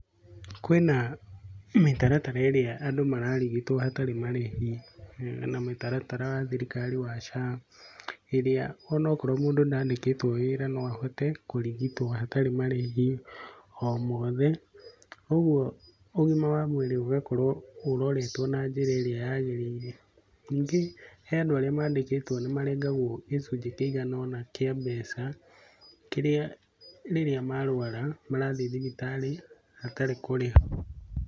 Kwĩna mĩtaratara ĩrĩa andũ mararigitwo hatarĩ marĩhi. Hena mũtaratara wa thirikari wa SHA, ĩrĩa onokorwo mũndũ ndandĩkĩtwo wĩra no ahote kũrigitwo hatarĩ marĩhi o mothe, kuoguo, ũgima wa mwĩrĩ ũgakorwo ũroretwo na njĩra ĩrĩa yagĩrĩire. Ningĩ he andũ arĩa maandĩkĩteo nĩ marengagwo gĩcunjĩ kĩigana ũna kĩa mbeca, kĩrĩa rĩrĩa marwara, marathiĩ thibitarĩ hatarĩ kũrĩha.